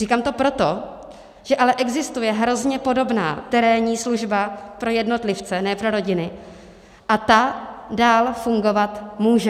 Říkám to proto, že ale existuje hrozně podobná terénní služba pro jednotlivce, ne pro rodiny, a ta dál fungovat může.